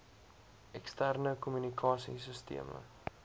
eksterne kommunikasie sisteme